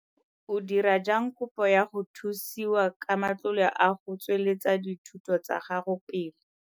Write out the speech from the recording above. O dira jang kopo ya go thusiwa ka matlole a go tsweletsa dithuto tsa gago pele?